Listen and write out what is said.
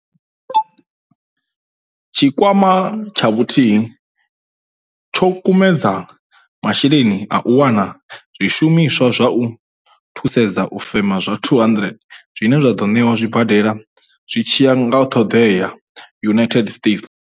Tshikwama tsha Vhuthihi tsho kumedza masheleni a u wana zwishumiswa zwa u thusedza u fema zwa 200, zwine zwa ḓo ṋewa zwibadela zwi tshi ya nga ṱhoḓea United States.